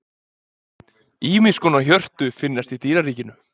Ýmiss konar hjörtu finnast í dýraríkinu.